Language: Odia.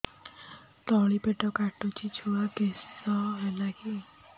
ତଳିପେଟ କାଟୁଚି ଛୁଆ କିଶ ହେଲା କି